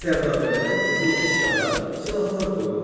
Sərdabələrə qızıl əşyalar, silahlar qoyulurdu.